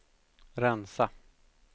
rensa